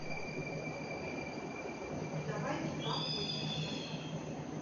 давайте поохотимся